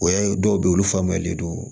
O y'a ye dɔw bɛ ye olu faamuyalen don